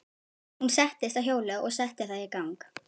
Hún settist á hjólið og setti það í gang.